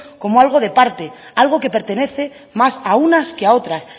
como algo de parte algo que pertenece más a unas que a otras